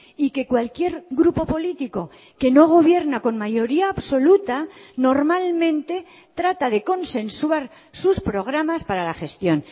y que cualquier grupo político que no gobierna con mayoría absoluta normalmente trata de consensuar sus programas para la gestión